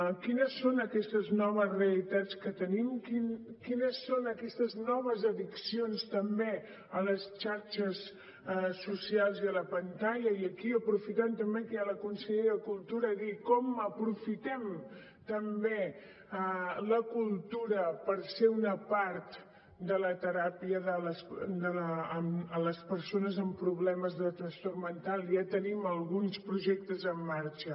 quines són aquestes noves realitats que tenim quines són aquestes noves addiccions també a les xarxes socials i a la pantalla i aquí aprofitant també que hi ha la consellera de cultura dir com aprofitem també la cultura perquè sigui una part de la teràpia de les persones amb problemes de trastorn mental ja tenim alguns projectes en marxa